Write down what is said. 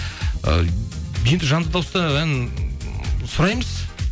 ы енді жанды дауыста ән сұраймыз